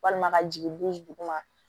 Walima ka jigin buru duguma